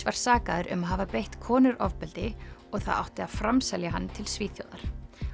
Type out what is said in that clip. var sakaður um að hafa beitt konur ofbeldi og það átti að framselja hann til Svíþjóðar